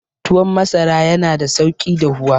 Tuwon masara yana da sauki dahuwa.